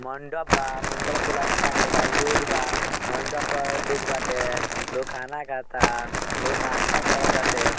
मंडप बा मंडप में फुलौना टाँगल बा । लोग बा मंडप अ लोग बाटे लोग खाना खा ता लोग नास्ता कर टाटे।